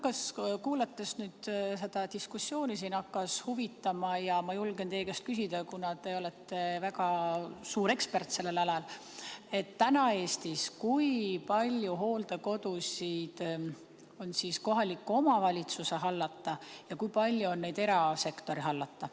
Mind hakkas nüüd seda diskussiooni kuulates huvitama ja kuna te olete väga suur ekspert sellel alal, siis ma julgen teie käest küsida, kui palju on täna Eestis hooldekodusid kohaliku omavalitsuse hallata ja kui palju on neid erasektori hallata.